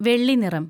വെള്ളി നിറം